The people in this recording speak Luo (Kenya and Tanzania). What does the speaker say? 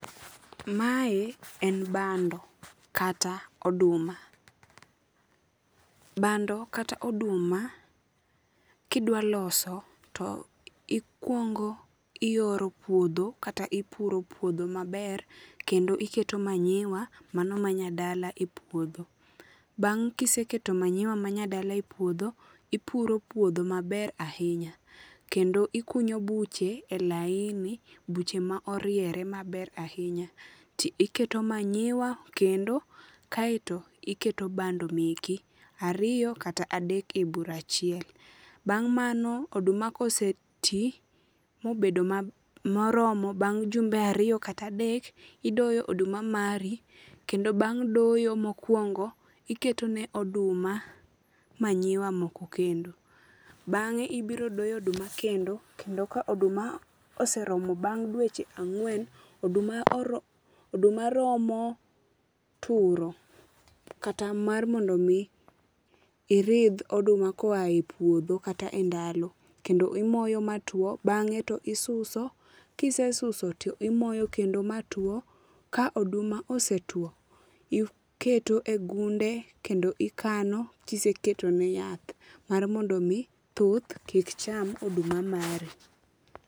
Mae en bando kata oduma. Bando kata oduma kidwa loso to ikuongo iyoro puodho kata ipuro puodho maber kendo iketo manyiwa mano manyadala e puodho. Bang kiseketo manyiwa manyadala e puodho ipuro puodho maber ahinya kendo ikunyo buche e laini, buche ma oriere maber ahinya ti iketo manyiwa kendo kaito iketo bando meki ariyo kata adek e bur achiel. Bang mano oduma ka osetii mobedo moromo bang jumbe ariyo kata adek idoyo oduma mari kendo bang doyo mokuongo iketo ne oduma manyiwa moko kendo. Bange ibiro doyo oduma kendo kendo ka oduma oseromo bang dweche angwen, oduma romo turo kata mar mondo mi iridh oduma koa e puodho kata e ndalo kendo imoyo matuo bange to isuso, kisesuso to imoyo kendo ma tuo, ka oduma osetuo, iketo e gunde kendo ikano kiseketo ne yath mar mondo mi thuth kik cham oduma mari